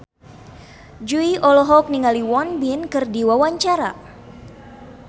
Jui olohok ningali Won Bin keur diwawancara